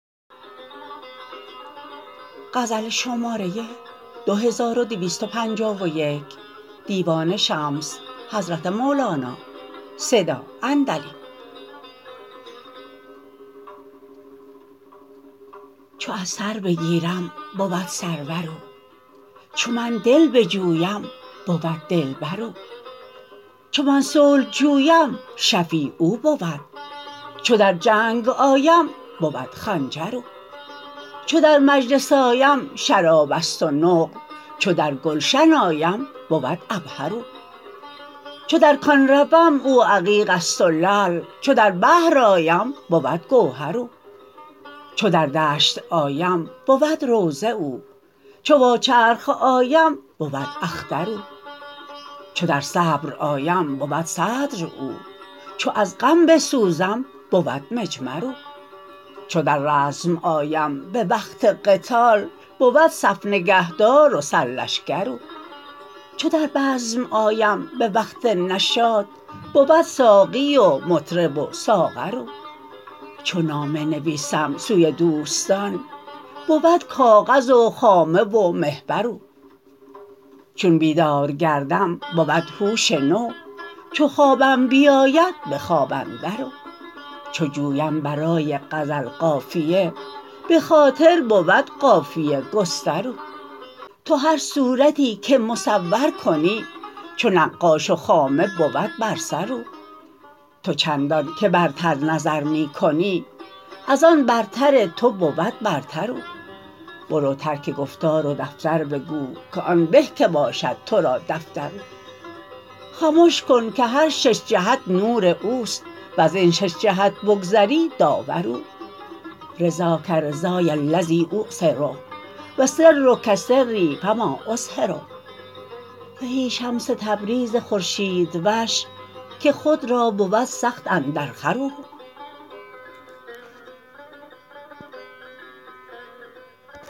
چو از سر بگیرم بود سرور او چو من دل بجویم بود دلبر او چو من صلح جویم شفیع او بود چو در جنگ آیم بود خنجر او چو در مجلس آیم شراب است و نقل چو در گلشن آیم بود عبهر او چو در کان روم او عقیق است و لعل چو در بحر آیم بود گوهر او چو در دشت آیم بود روضه او چو وا چرخ آیم بود اختر او چو در صبر آیم بود صدر او چو از غم بسوزم بود مجمر او چو در رزم آیم به وقت قتال بود صف نگهدار و سرلشکر او چو در بزم آیم به وقت نشاط بود ساقی و مطرب و ساغر او چو نامه نویسم سوی دوستان بود کاغذ و خامه و محبر او چون بیدار گردم بود هوش نو چو بخوابم بیاید به خواب اندر او چو جویم برای غزل قافیه به خاطر بود قافیه گستر او تو هر صورتی که مصور کنی چو نقاش و خامه بود بر سر او تو چندانک برتر نظر می کنی از آن برتر تو بود برتر او برو ترک گفتار و دفتر بگو که آن به که باشد تو را دفتر او خمش کن که هر شش جهت نور او است وزین شش جهت بگذری داور او رضاک رضای الذی اوثر و سرک سری فما اظهر زهی شمس تبریز خورشیدوش که خود را بود سخت اندرخور او